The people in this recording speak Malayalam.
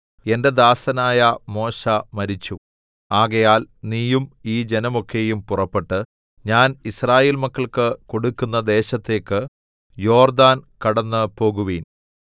എന്റെ ദാസനായ മോശെ മരിച്ചു ആകയാൽ നീയും ഈ ജനമൊക്കെയും പുറപ്പെട്ട് ഞാൻ യിസ്രായേൽ മക്കൾക്ക് കൊടുക്കുന്ന ദേശത്തേക്ക് യോർദ്ദാൻ കടന്നുപോകുവിൻ